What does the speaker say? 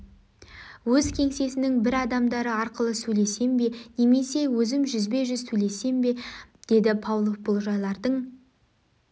өз кеңсесінің бір адамдары арқылы сөйлессем бе немесе өзім жүзбе-жүз сөйлессем бе деді павлов бұл жайлардың